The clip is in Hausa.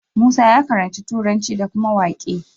Musa ya karanci turanci da kuma waƙe